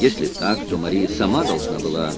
если так то мария сама должна была